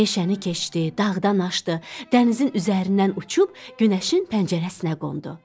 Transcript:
Meşəni keçdi, dağdan aşdı, dənizin üzərindən uçub günəşin pəncərəsinə qondu.